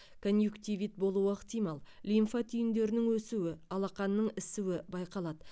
конъюктивит болуы ықтимал лимфа түйіндерінің өсуі алақанның ісуі байқалады